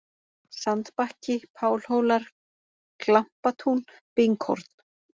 Sandbakki, Pálhólar, Glampatún, Binghorn